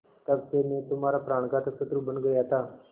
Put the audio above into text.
तब से मैं तुम्हारा प्राणघातक शत्रु बन गया था